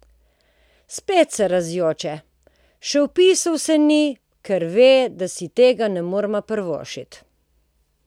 Spet se razjoče: "Še vpisal se ni, ker ve, da si tega ne moreva privoščiti ...